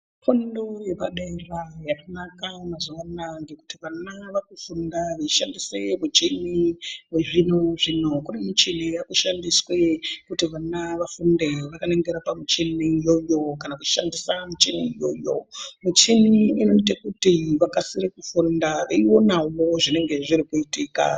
Zvikora zvepadera yakanaka mazuwa ano ngekuti vana vakufunda veishandisa michini yechizvino-zvino. Kune michini yaakushandiswa kuti vana vafunde vakaningira pamuchini iyoyo kana kushandisa michini iyoyo. Michini inoite kuti vakasire kufunda veionawo zvinenge zvirikuitika.